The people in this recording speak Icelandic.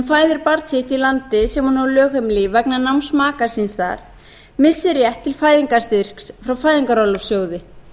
fæðir barn sitt í landi sem hún á lögheimili í vegna náms maka síns þar missir rétt til fæðingarstyrks frá fæðingarorlofssjóði